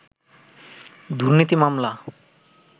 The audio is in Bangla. দুর্নীতি মামলা